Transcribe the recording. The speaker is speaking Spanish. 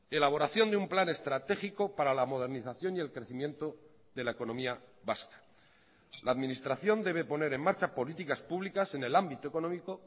elaboración de un plan estratégico para la modernización y el crecimiento de la economía vasca la administración debe poner en marcha políticas públicas en el ámbito económico